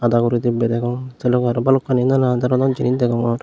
dagorodi bedegom sei logey aro nanan doronor jinich degongor.